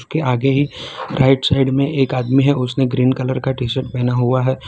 उसके आगे ही राइट साइड में एक आदमी है उसने ग्रीन कलर का टी शर्ट पहेना हुआ है।